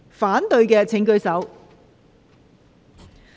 反對的請舉手。